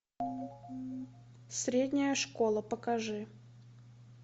средняя школа покажи